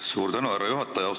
Suur tänu, härra juhataja!